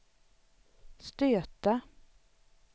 stöta